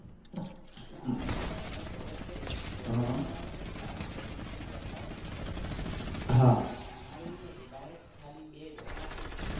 હમ્મ. અમે અમે કોલેજ કરી ને કોલેજ માં અમારે આવું નતું semester પ્રથા છે હે ને છ છ મહિના અમારે એવું નતું direct ખાલી બે exam આવતી.